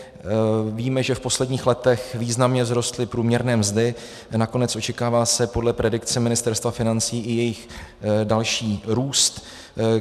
Víme, že v posledních letech významně vzrostly průměrné mzdy, nakonec očekává se podle predikce Ministerstva financí i jejich další růst.